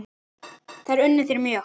Þær unnu þér mjög.